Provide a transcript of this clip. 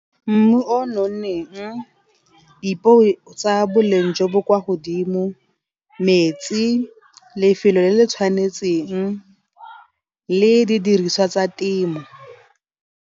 Mmu o nonneng, dipeo tsa boleng jo bo kwa godimo metsi, lefelo le le tshwanetseng le di diriswa tsa temo.